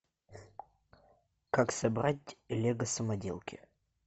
как собрать лего самоделки